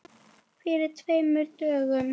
Fyrir tveimur dögum?